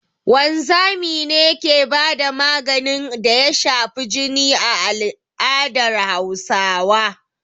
Wanzami ne ke ba da maganin da ya shafi jini a al'adar Hausawa